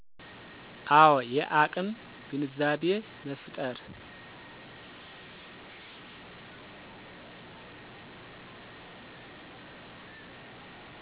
አወ። የአቅም ግንዛቤ መፋጠር